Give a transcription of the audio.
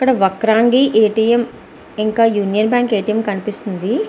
అక్కడ Vakrangee A. T. M. ఇంకా Union Bank A. T. M. కనిపెస్తునది.